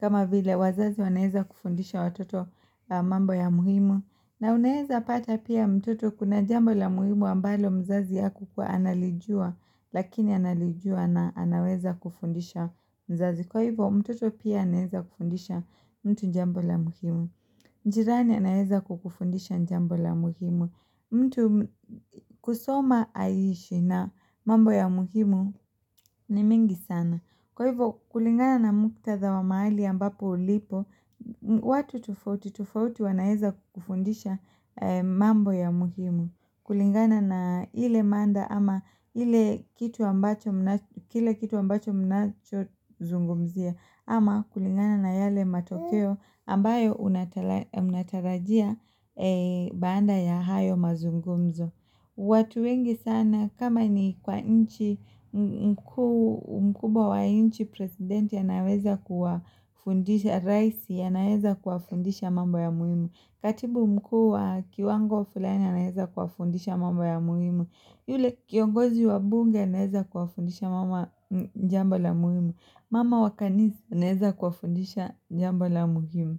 kama vile wazazi anaeza kufundisha watoto mambo ya muhimu na unaeza pata pia mtoto kuna jambo la muhimu ambalo mzazi akuwa analijua lakini analijua na anaweza kufundisha mzazi. Kwa hivyo mtoto pia anaeza kufundisha mtu jambo la muhimu. Jirani anaeza kukufundisha jambo la muhimu. Mtu kusoma aishi na mambo ya muhimu ni mingi sana. Kwa hivyo kulingana na muktadha wa maali ambapo ulipo, watu tofauti tofauti wanaeza kufundisha mambo ya muhimu. Kulingana na ile mada ama ile kitu ambacho mnacho zungumzia ama kulingana na yale matokeo ambayo unatarajia baanda ya hayo mazungumzo. Watu wengi sana kama ni kwa nchi mkuu mkubwa wa inchi presidenti anaweza kuwafundisha raisi ya naweza kufundisha mambo ya muhimu Katibu mkuu wa kiwango fulani ya naweza kufundisha mambo ya muhimu Yule kiongozi wa bunge ya naweza kufundisha mama jambo la muhimu Mama wakanisa naweza kufundisha jambo la muhimu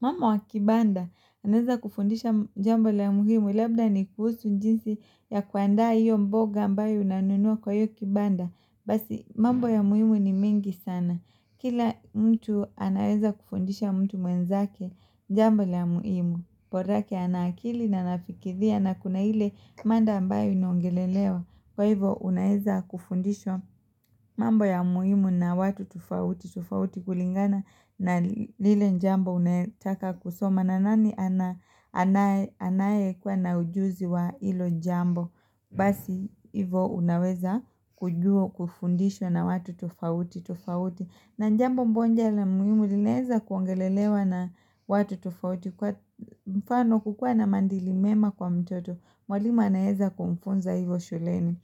mambo wa kibanda, anaweza kufundisha jambo la muhimu, labda ni kuhusu njinsi ya kuanda iyo mboga ambayo unanunua kwa iyo kibanda, basi mambo ya muhimu ni mingi sana. Kila mtu anaweza kufundisha mtu mwenzake jambo la muhimu, porake anaakili na nafikiria na kuna ile manda ambayo inaongelelewa. Kwa hivo unaeza kufundishwa mambo ya muhimu na watu tufauti, tufauti kulingana na lile njambo unetaka kusoma na nani anaye kuwa na ujuzi wa ilo jambo Basi hivo unaweza kujua kufundishwa na watu tufauti, tufauti na njambo mbonja na muhimu linaeza kuangelelewa na watu tufauti kwa mfano kukua na mandilimema kwa mtoto Mwalimu anaeza kumfunza hivo shuleni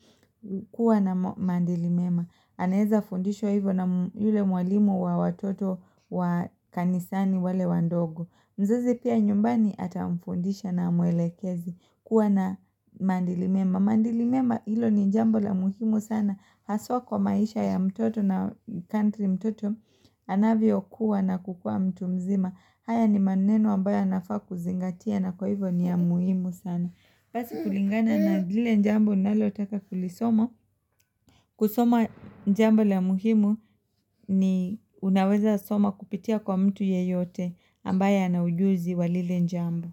kuwa na mandilimema aneeza fundishwa hivyo na yule mwalimu wa watoto wa kanisani wale wandogo mzazi pia nyumbani ata mfundisha na mwelekeze kuwa na mandilimema mandilimema hilo ni jambo la muhimu sana haswa kwa maisha ya mtoto na country mtoto anavyo kuwa na kukua mtu mzima haya ni maneno ambayo yanafaa kuzingatia na kwa hivyo ni ya muhimu sana basi kulingana na lile njambo nalotaka kulisoma. Kusoma njambo la muhimu ni unaweza soma kupitia kwa mtu yeyote ambaye na ujuzi wa lile njambo.